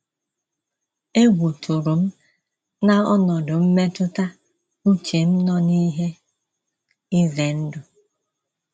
Egwu tụrụ m na ọnọdụ mmetụta uche m nọ n’ihe ize ndụ.